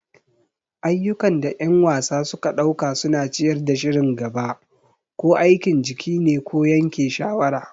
Ayyukan da ƴan wasa suka ɗauka suna ciyar da shirin gaba. Ko aikin jiki ne ko yanke shawara.